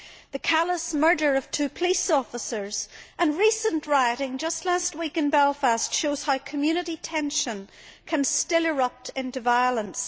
The callous murder of two police officers and recent rioting just last week in Belfast show how community tension can still erupt into violence.